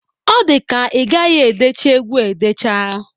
Ọ dika igaghi edecha egwu a edecha.